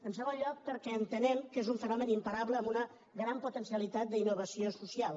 en segon lloc perquè entenem que és un fenomen imparable amb una gran potencialitat d’innovació so cial